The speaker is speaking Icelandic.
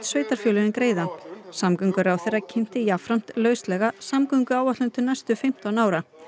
sveitarfélögin greiða samgönguráðherra kynnti jafnframt lauslega samgönguáætlun til næstu fimmtán ára